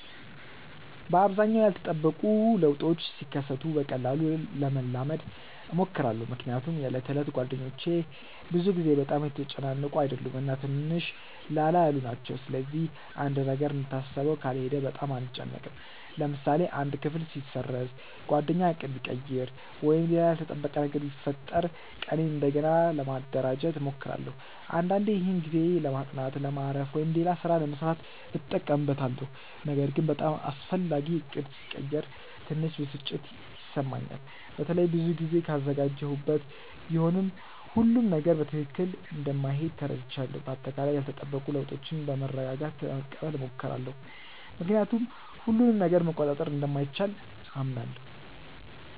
በአብዛኛው ያልተጠበቁ ለውጦች ሲከሰቱ በቀላሉ ለመላመድ እሞክራለሁ። ምክንያቱም የዕለት ተዕለት እቅዶቼ ብዙ ጊዜ በጣም የተጨናነቁ አይደሉም እና ትንሽ ላላ ያሉ ናቸው። ስለዚህ አንድ ነገር እንደታሰበው ካልሄደ በጣም አልጨነቅም። ለምሳሌ አንድ ክፍል ቢሰረዝ፣ ጓደኛ ዕቅድ ቢቀይር ወይም ሌላ ያልተጠበቀ ነገር ቢፈጠር ቀኔን እንደገና ለማደራጀት እሞክራለሁ። አንዳንዴ ይህን ጊዜ ለማጥናት፣ ለማረፍ ወይም ሌላ ሥራ ለመሥራት እጠቀምበታለሁ። ነገር ግን በጣም አስፈላጊ ዕቅድ ሲቀየር ትንሽ ብስጭት ይሰማኛል፣ በተለይ ብዙ ጊዜ ካዘጋጀሁበት። ቢሆንም ሁሉም ነገር በትክክል እንደማይሄድ ተረድቻለሁ። በአጠቃላይ ያልተጠበቁ ለውጦችን በመረጋጋት ለመቀበል እሞክራለሁ፣ ምክንያቱም ሁሉንም ነገር መቆጣጠር እንደማይቻል አምናለሁ።